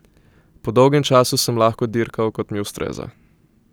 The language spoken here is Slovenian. Po dolgem času sem lahko dirkal, kot mi ustreza.